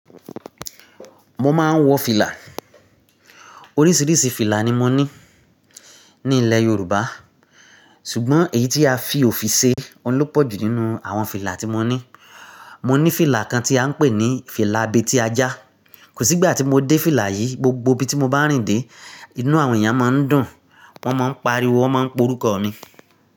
Mo máa ń wọ fìlà. Oríṣiríṣi fìlà ni mo ní ní ilẹ̀ Yorùbá, ṣùgbọ́n èyí tí a fi òfi ṣe ọun ló pọ̀jù nínú àwọn fìlà tí mo ní. Mo ní fìlà kan tí à ń pè ní fìlà abètí ajá. Kò sí ìgbà tí mo dé fìlà yìí, gbogbo ibi tí mo bá rìn dé, inú àwọn èèyàn máa ń dùn, wọ́n máa ń pariwo, wọ́n máa ń pe orúkọ mi.